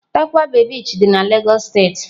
Tarkwa bay Beach dị na Lagos State.